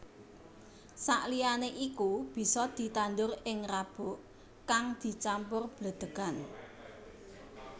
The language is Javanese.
Sakliyané iku bisa ditandur ing rabuk kang dicampur bledhegan